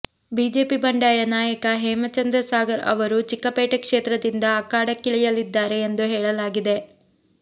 BJP ಬಂಡಾಯ ನಾಯಕ ಹೇಮಚಂದ್ರ ಸಾಗರ್ ಅವರು ಚಿಕ್ಕಪೇಟೆ ಕ್ಷೇತ್ರದಿಂದ ಅಖಾಡಕ್ಕಿಳಿಯಲಿದ್ದಾರೆ ಎಂದು ಹೇಳಲಾಗಿದೆ